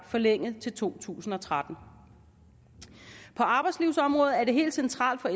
forlænget til to tusind og tretten på arbejdslivsområdet er det helt centralt for